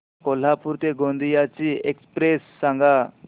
कोल्हापूर ते गोंदिया ची एक्स्प्रेस सांगा